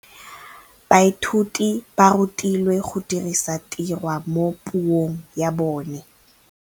Baithuti ba rutilwe go dirisa tirwa mo puong ya bone.